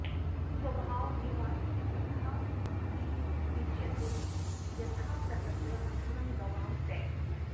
स्वभाव एवात्र तथातिरिच्यते यथा प्रकृत्या मधुरं गवां पयः